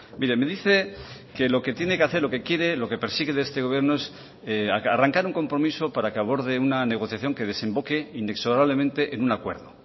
mire me dice que lo que tiene que hacer lo que quiere lo que persigue de este gobierno es arrancar un compromiso para que aborde una negociación que desemboque inexorablemente en un acuerdo